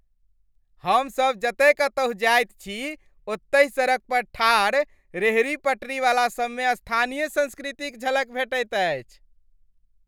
हमसब जतय कतहुँ जाइत छी, ओतहि सड़क पर ठाढ़ रेहड़ी पटरीवला सबमे स्थानीय संस्कृतिक झलक भेटैत अछि।